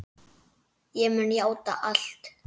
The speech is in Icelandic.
Ég mun játa allt.